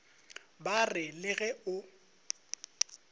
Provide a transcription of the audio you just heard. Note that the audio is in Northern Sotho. ba re le ge o